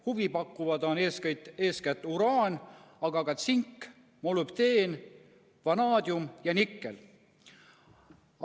Huvipakkuvad on eeskätt uraan, tsink, molübdeen, vanaadium ja nikkel.